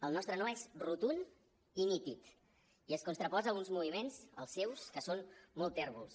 el nostre no és rotund i nítid i es contraposa a uns moviments els seus que són molt tèrbols